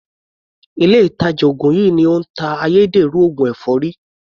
Ilé ìtàjà ògùn yìí ni ó ń ta ayédèrú oògùn èfọ́rí.